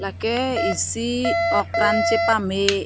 lake isi ok pran chepame.